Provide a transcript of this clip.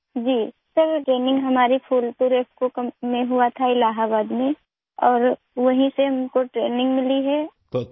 جی sir, training ہماری Phulpur IFFCO company Allahabad میں ہوئی تھی اور ہم نے وہیں سے ٹریننگ حاصل کی تھی